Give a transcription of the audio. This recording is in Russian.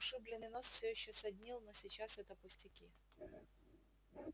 ушибленный нос всё ещё саднил но сейчас это пустяки